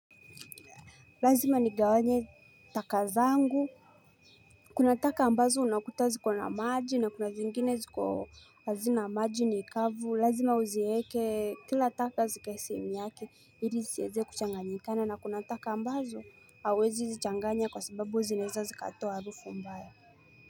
Lazima nigawanye taka zangu Kuna taka ambazo unakuta ziko na maji na kuna zingine ziko hazina maji ni kavu lazima uzieke kila taka zikae sehemu yake ili zisieze kuchanganyikana na kuna taka ambazo hauwezi zichanganya kwa sababu zinaeza zikatoa harufu mbaya.